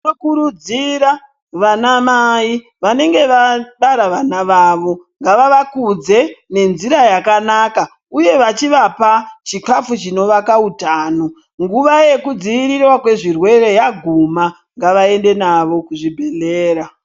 Tinokurudzira vana mai vanenge vabara vana vavo ngava vakudze ngenjira yakanaka uye vachivapa chikafu chinovaka utano nguva yekudzivirirwa kwezvirwere yaguma ngavaende navo kuzvibhedhlera.